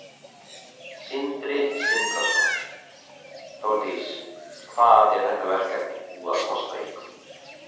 Sindri Sindrason: Þórdís, hvað er þetta verkefni búið að kosta ykkur?